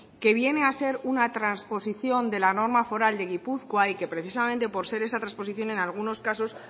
que viene a ser una transposición de la norma foral de gipuzkoa y que precisamente por ser esa transposición en algunos casos